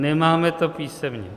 Nemáme to písemně.